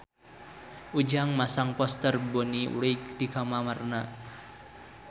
Ujang masang poster Bonnie Wright di kamarna